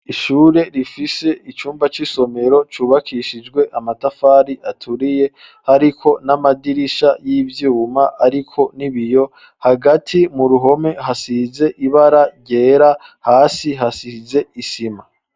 Ishure rifise icumba c'isomero cubakishijwe amatafari aturiye, hariko n'amadirisha y'ivyuma ariko n'ibiyo hagati mu ruhome hasize ibara ryera hasi hasize isima.